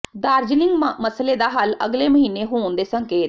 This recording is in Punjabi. ਦਾਰਜੀਲਿੰਗ ਮਸਲੇ ਦਾ ਹੱਲ ਅਗਲੇ ਮਹੀਨੇ ਹੋਣ ਦੇ ਸੰਕੇਤ